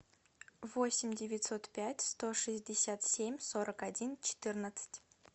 восемь девятьсот пять сто шестьдесят семь сорок один четырнадцать